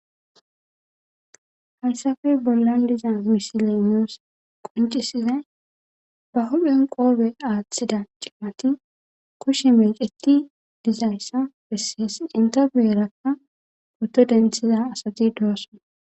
Hayssappe bollan diza misile nus qonccisizay ba huuphphen qoophe aaththida cimati kushe meeceti dizayssa besees. Entta guyera poto denththiza asati doosona.